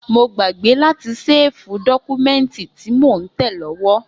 Mo gbàgbé láti séèfù dọ́kúmẹ́ǹtì tí mo ń tẹ̀ lówó